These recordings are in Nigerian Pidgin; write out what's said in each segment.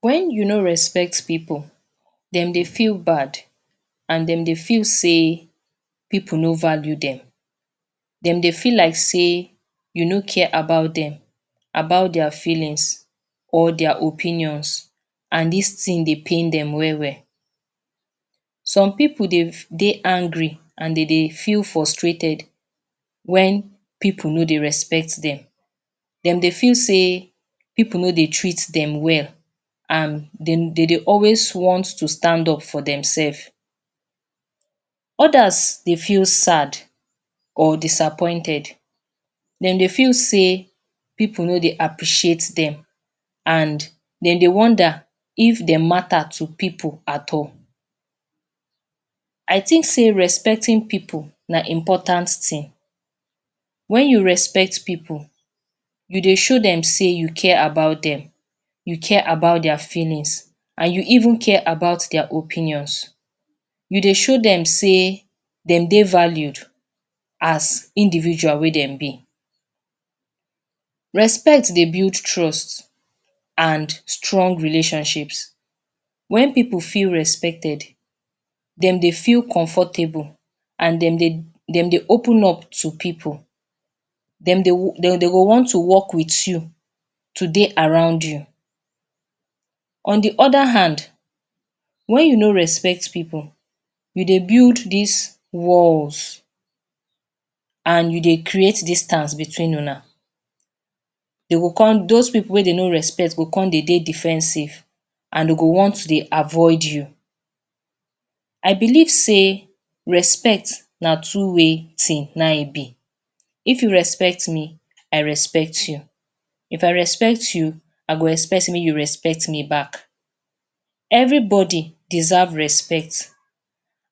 When you no respect pipu dem dey feel bad and dem dey feel say pip uno value dem dem dey feel like say you no care about dem about their feelings or their opinions and this thing dey pain dem well well. some pipu dey dey angry and dem dey feel frustrated when pipu no dey respect dem dem dey feel say pipu no dey treat dem well and dem dey always want to stand up for themselves others dey feel sad or disappointed dem dey feel sey pipu no dey appreciate dem and dem dey wonder if dem matters to pipu at all I think say respecting pipu na important thing. when you respect pipu you dey show dem say you care about dem you care about their feelings and you even care about their opinions you dey show dem say dem dey valued as individual wey dem be. Respect dey build trust and strong relationships when pipu feel respected dem dey feel comfortable and dem dey dem dey open up to pipu dem dey dey go want to work with you to dey around you. on de other hand, when you no respect pipu you dey build this wall and you dey create distance between una dem go come those pipu wey dem no respect dem go come dey defensive and dem go want dey avoid you. I believe say respect na two way thing; na im e be if you respect me I respect you if I respect you I go expect sey make you respect me back. everybody deserve respect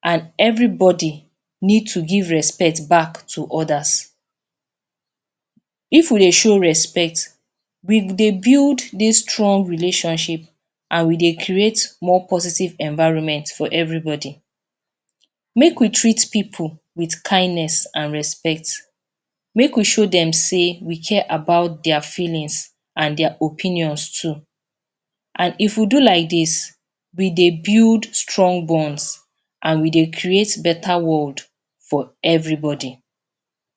and everybody needs to give respect back to others. if we dey show respect, we dey build this strong relationship and we dey create more positive environments for everybody. make we treat pipu with kindness and respect. make we show dem sey we care about their feelings and their opinions too and if we do like this, e dey build strong bonds and we dey create beta world for everybody.